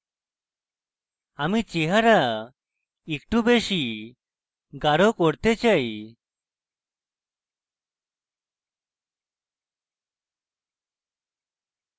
আমি চেহারা একটু বেশী গাঢ় করতে চাই